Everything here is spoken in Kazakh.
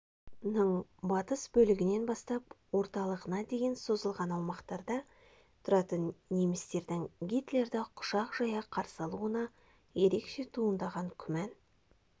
ның батыс бөлігінен бастап орталығына дейін созылған аумақтарда тұратын немістердің гитлерді құшақ жая қарсы алуына ерекше туындаған күмән